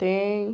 Tem.